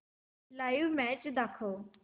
live match दाखव